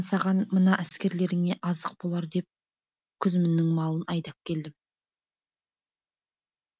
мен саған мына әскерлеріңе азық болар деп күзміннің малын айдап келдім